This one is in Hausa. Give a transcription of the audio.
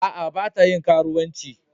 Aa, ba ta yin karuwanci.